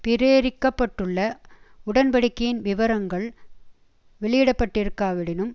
பிரேரிக்க பட்டுள்ள உடன்படிக்கையின் விவரங்கள் வெளியிடப்பட்டிருக்காவிடினும்